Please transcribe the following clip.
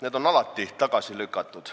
Need on alati tagasi lükatud.